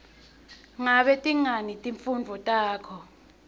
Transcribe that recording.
ngabe tingaki timfundvo takho